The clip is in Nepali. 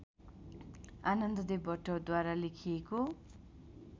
आनन्ददेव भट्टद्वारा लेखिएको